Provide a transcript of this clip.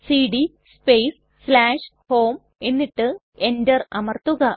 CD space home എന്നിട്ട് enter അമർത്തുക